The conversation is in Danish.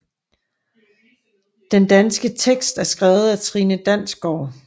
Den danske tekst er skrevet af Trine Dansgaard